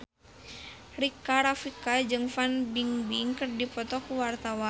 Rika Rafika jeung Fan Bingbing keur dipoto ku wartawan